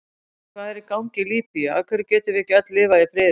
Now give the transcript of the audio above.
Hvað er í gangi í Líbíu, af hverju getum við ekki öll lifað í friði?